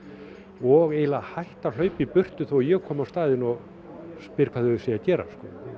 og eiginlega hætt að hlaupa í burtu þó ég komi á staðinn og spyr hvað þau séu að gera